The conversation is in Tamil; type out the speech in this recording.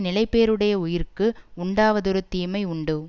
நிலைபேறுடைய உயிர்க்கு உண்டாவதொரு தீமை உண்டோ